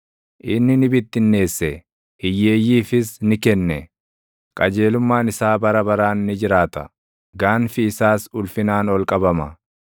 Inni ni bittinneesse; hiyyeeyyiifis ni kenne; qajeelummaan isaa bara baraan ni jiraata; gaanfi isaas ulfinaan ol qabama.